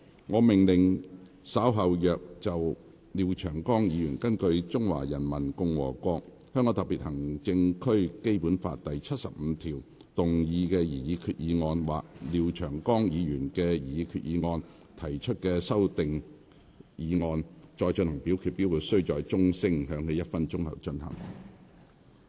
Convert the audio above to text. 我命令若稍後就廖長江議員根據《中華人民共和國香港特別行政區基本法》第七十五條動議的擬議決議案或就廖長江議員的擬議決議案所提出的修訂議案再進行點名表決，表決須在鐘聲響起1分鐘後進行。